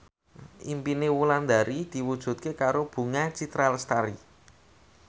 impine Wulandari diwujudke karo Bunga Citra Lestari